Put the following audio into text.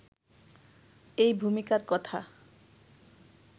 এই ভূমিকার কথা